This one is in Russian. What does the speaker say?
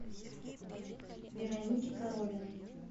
веронике коровиной